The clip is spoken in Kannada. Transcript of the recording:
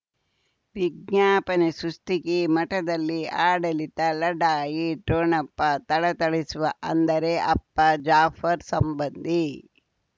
ವಿಜ್ಞಾಪನೆ ಸೃಷ್ಟಿಗೆ ಮಠದಲ್ಲಿ ಆಡಳಿತ ಲಢಾಯಿ ಠೊಣಪ ಥಳಥಳಿಸುವ ಅಂದರೆ ಅಪ್ಪ ಜಾಫರ್ ಸಂಬಂಧಿ